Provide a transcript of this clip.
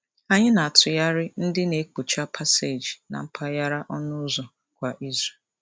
Anyị na-atụgharị ndị na-ekpocha paseeji na mpaghara ọnụụzọ kwa izu.